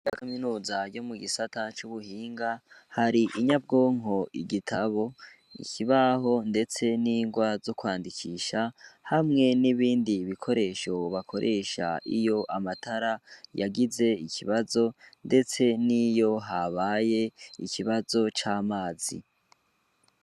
Ya kaminuza yo mu gisata cubuhinga hari inyabwonko igitabo, ikibaho ndetse n'ingwa zo kwandikisha hamwe n'ibindi bikoresho bakoresha iyo amatara yagize ikibazo ndetse niyo habaye ikibazo c'amazi.